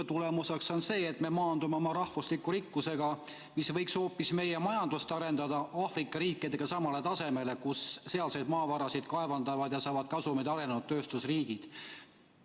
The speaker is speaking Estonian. Ja tagajärg on see, et me maandume oma rahvusliku rikkusega, mis võiks hoopis meie majandust arendada, samale tasemele Aafrika riikidega, kus sealseid maavarasid kaevandavad ja saavad kasumeid arenenud tööstusriigid.